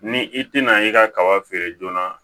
Ni i tina i ka kaba feere joona